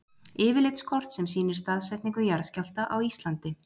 yfirlitskort sem sýnir staðsetningu jarðskjálfta á íslandi